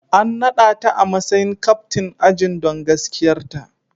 An nada ta a matsayin captain ajin don gaskiyarta.